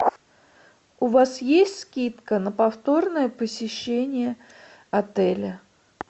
у вас есть скидка на повторное посещение отеля